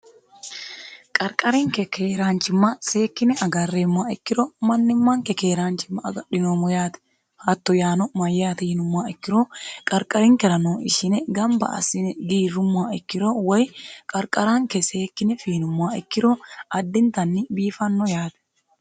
qarqarinke keeraanchimma seekkine agarreemmoha ikkiro mannimmanke keeraanchimma agadhinoommo yaate hatto yaano mayyaate yinummoha ikkiro qarqarinkerano ishine gamba assine giirrummoha ikkiro woy qarqaraanke seekkine fiinummoha ikkiro addintanni biifanno yaate